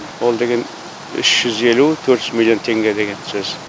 ол деген үш жүз елу төрт жүз миллион теңге деген сөз